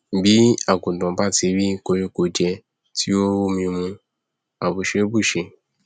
bí àgùntàn bá ti rí koríko jẹ tí ó rómi mu mu àbùṣé bùṣe